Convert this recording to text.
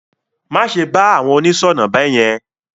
Má ṣe bá àwọn oníṣọ̀nà beyen.